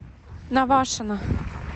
навашино